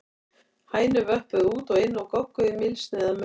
Hænur vöppuðu út og inn og gogguðu í mylsnu eða maur.